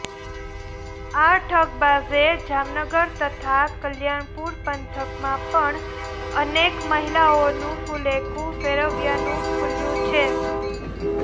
આ ઠગબાજે જામનગર તથા કલ્યાણપુર પંથકમાં પણ અનેક મહિલાઓનું ફુલેકુ ફેરવ્યાનું ખુલ્યુ છે